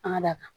An ka da kan